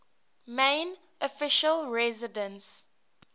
main official residence